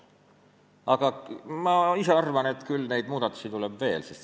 Aga ma ise arvan, et neid muudatusi tuleb veel.